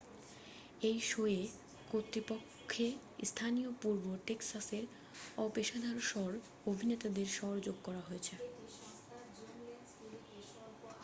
এই শো'য়ে প্রকৃতপক্ষে স্থানীয় পূর্ব টেক্সাসের অপেশাদার স্বর অভিনেতাদের স্বর যোগ করা হয়েছে